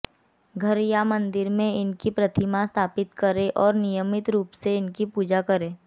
घर या मंदिर में इनकी प्रतिमा स्थापित करें और नियमित रूप से इनकी पूजा करें